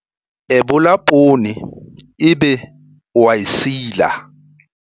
Ebola poone ebe o a e sila.